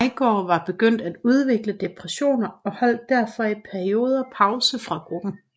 Veigaard var begyndt at udvikle depressioner og holdt derfor i perioder pause fra gruppen